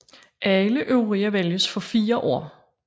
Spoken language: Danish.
Alle øvrige vælges for fire år